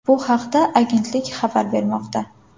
Bu haqda agentlik xabar bermoqda .